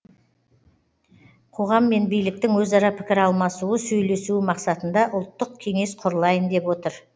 қоғам мен биліктің өзара пікір алмасуы сөйлесуі мақсатында ұлттық кеңес құрылайын деп отыр